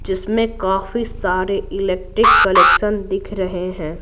जिसमें काफी सारे इलेक्ट्रिक कलेक्शन दिख रहे हैं।